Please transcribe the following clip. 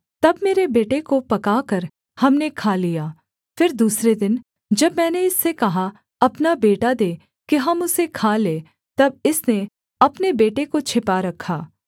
तब मेरे बेटे को पकाकर हमने खा लिया फिर दूसरे दिन जब मैंने इससे कहा अपना बेटा दे कि हम उसे खा लें तब इसने अपने बेटे को छिपा रखा